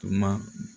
Tuma